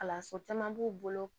Kalanso caman b'u bolo